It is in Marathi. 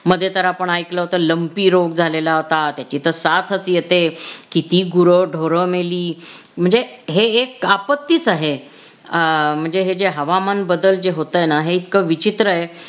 मधे तर आपण ऐकलं होत लम्पी रोग झालेला होता. त्याची तर साथच येते किती गुर ढोर मेली म्हणजे हे एक आपत्तीच आहे आह म्हणजे हे जे हवामान बदल जे होतंय न हे इतकं विचित्र आहे